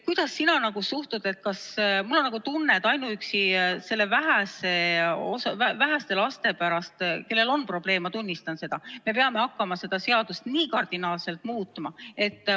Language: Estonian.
Kuidas sina suhtud sellesse, et ainuüksi nende väheste laste pärast, kellel on selline probleem – ma tunnistan, et selliseid on –, peame me hakkama seadust nii kardinaalselt muutma?